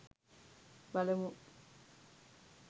බලමු!